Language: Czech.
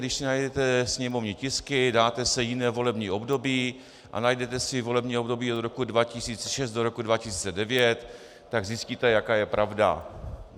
Když si najdete sněmovní tisky, dáte si jiné volební období a najdete si volební období od roku 2006 do roku 2009, tak zjistíte, jaká je pravda.